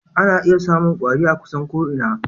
Ana iya samun kwari a kusan ko'ina.